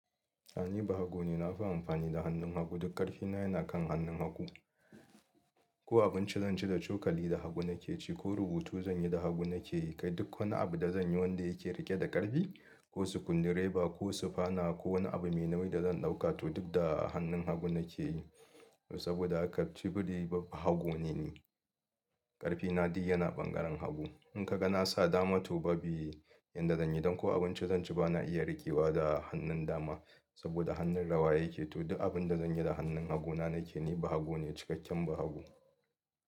A ni bahago ne, na fi amfani da hannun hagu. Duk ƙarfi na yana kan hannun hagu. Ko abinci zanci da cokali, da hagu nake ci. Ko rubutu zan yi, da hagu nake yi. Kai duk wani abu da zanyi wanda yake riƙe da ƙarfi, ko sukundi reba, ko sufana, ko wani abu mai nauyi da zan ɗauka, to duk da hannun hagu nake yi. Saboda haka ciki da waje bahago ne ni. Ƙarfi na duk yana ɓangaren hagu. Inkaga nasa dama to ba bi yadda zanyi, don ko abinci zanci bana iya riƙewa da hannun dama. Saboda hannun rawa yake, to duk abinda zanyi da hannun haguna nake yi. Ni bahago ne, cikakken bahago.